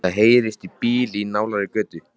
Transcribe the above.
Það heyrist í bíl í nálægri götu.